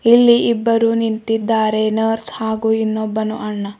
ಇಲ್ಲಿ ಇಬ್ಬರು ನಿಂತಿದ್ದಾರೆ ನರ್ಸ್ ಹಾಗೂ ಇನ್ನೊಬ್ಬನು ಅಣ್ಣ.